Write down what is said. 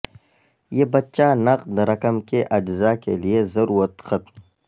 یہ بچہ نقد رقم کے اجراء کے لئے ضرورت ختم